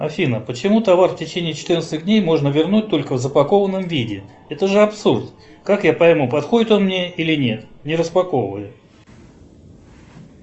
афина почему товар в течении четырнадцати дней можно вернуть только в запакованном виде это же абсурд как я пойму подходит он мне или нет не распаковывая